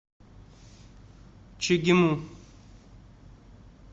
чегему